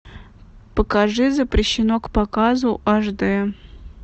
покажи запрещено к показу аш дэ